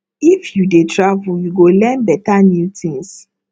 if you dey travel you go learn better new things